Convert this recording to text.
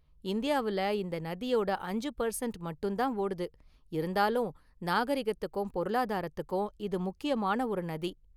இந்தியாவுல இந்த நதியோட அஞ்சு பர்சண்ட் மட்டும்தான் ஓடுது, இருந்தாலும் நாகரிகத்துக்கும் பொருளாதாரத்துக்கும் இது முக்கியமான ஒரு நதி.